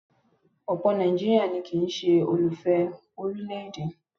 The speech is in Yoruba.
Ọ̀pọ̀ ọmọ Nàìjíríà ni kì ń ṣe olùfẹ orílẹ̀-èdè.